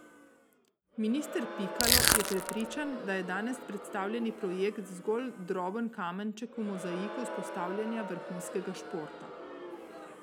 Minister Pikalo je prepričan, da je danes predstavljeni projekt zgolj droben kamenček v mozaiku vzpostavljanja vrhunskega športa.